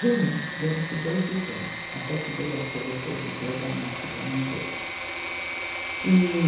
Junho, dia vinte e dois de junho, até que veio a ser depois o dia da morte da mãe dele. e